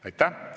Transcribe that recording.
Aitäh!